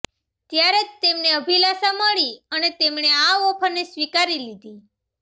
ત્યારે જ તેમને અભિલાષા મળી અને તેમણે આ ઑફરને સ્વીકારી લીધી